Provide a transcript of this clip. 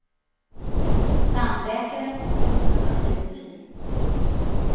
Tandläkaren och doktorn har blivit dyr.